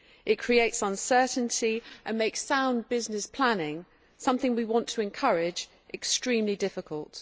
It creates uncertainty and makes sound business planning something we want to encourage extremely difficult.